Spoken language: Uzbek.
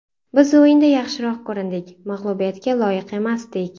Biz o‘yinda yaxshiroq ko‘rindik, mag‘lubiyatga loyiq emasdik.